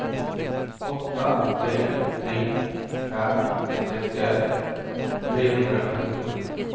åtta tre tre fem sextioett trehundrasjuttiosju